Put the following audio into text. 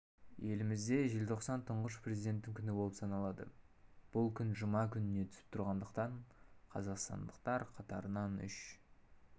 елімізде желтоқсан тұңғыш президенттің күні болып саналады бұл күн жұма күніне түсіп тұрғандықтан қазақстандықтар қатарынан үш